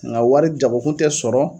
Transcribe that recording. Ŋa wari jagokun tɛ sɔrɔ